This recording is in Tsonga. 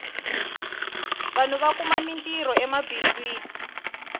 vanhu va kuma mintirho emabindzwini